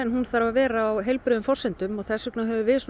hún þarf að vera á heilbrigðum forsendum og þess vegna höfum við